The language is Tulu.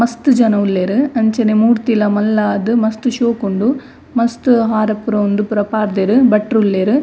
ಮಸ್ತ್ ಜನ ಉಲ್ಲೆರ್ ಅಂಚನೆ ಮೂರ್ತಿಲ ಮಲ್ಲಾದ್ ಮಸ್ತ್ ಶೋಕುಂಡು ಮಸ್ತ್ ಹಾರ ಪೂರ ಉಂದು ಪೂರ ಪಾಡ್ದೆರ್ ಭಟ್ರ್ ಉಲ್ಲೆರ್.